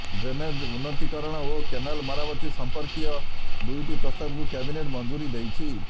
drainage ଉନ୍ନତିକରଣ ଓ canal ମରାମତି ସଂପର୍କୀୟ ଦୁଇଟି ପ୍ରସ୍ତାବକୁ କ୍ୟାବିନେଟ୍ ମଞ୍ଜୁରୀ ଦେଇଛି